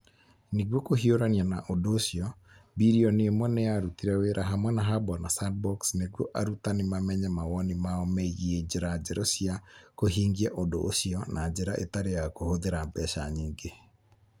Nĩguo kũhiũrania na ũndũ ũcio, billion ĩmwe nĩ yarutire wĩra hamwe na hub on a sandbox nĩguo arutani mamenye mawoni mao megiĩ njĩra njerũ cia kũhingia ũndũ ũcio na njĩra ĩtarĩ ya kũhũthĩra mbeca nyingĩ.